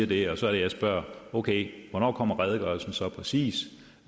det og så er det jeg spørger okay hvornår kommer redegørelsen så præcis